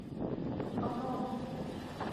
анон